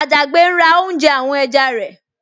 Àjàgbé ń ra oúnjẹ àwọn ẹja rẹ̀